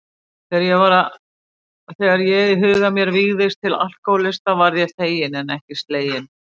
Þegar ég í huga mér vígðist til alkohólista varð ég feginn en ekki sleginn.